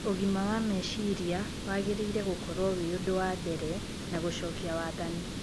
ũgima wa meciria wagĩrĩire gũkorwo wĩ ũndũ wambere na gũcokia wathani.